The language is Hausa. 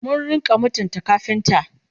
mu rinka mutunta kafinta!